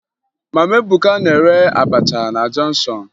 Mama Ebuka na-ere abacha na jọnshọn